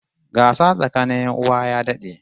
Gasa tsakanin 'yan uwa ya dad'e